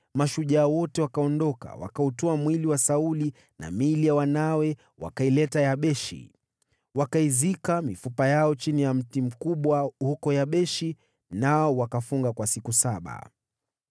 mashujaa wao wote wakaondoka, wakautwaa mwili wa Sauli na miili ya wanawe, wakaileta Yabeshi. Wakaizika mifupa yao chini ya mti mkubwa huko Yabeshi, nao wakafunga kwa siku saba.